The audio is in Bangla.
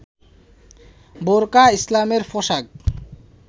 বোরখা ইসলামের পোশাক